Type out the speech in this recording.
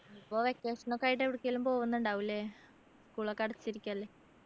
ഇപ്പൊ vacation ഒക്കെ ആയിട്ട് എവിടെക്കേലും പോകുന്നുണ്ടാകും അല്ലെ school ഒക്കെ അടച്ചിരിക്കല്ലേ